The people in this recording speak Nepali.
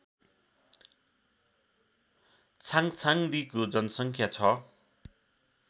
छाङछाङदीको जनसङ्ख्या छ